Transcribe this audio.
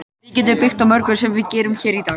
Við getum byggt á mörgu sem við gerum hér í dag.